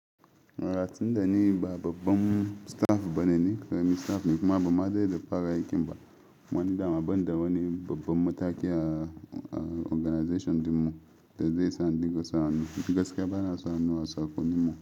Ratsin da ni ba babban staff bane ne, ƙaramin staff ne kuma ba ma zai da fara aikin ba wani da, amma banda wani babban mataki a organization din mu da zai sa dinka sauranuwa. Gaskiya bana sauranuwa tsako ni ma.